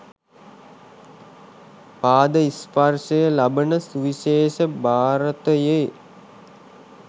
පාද ස්පර්ශය ලබන සුවිශේෂ භාරතයේ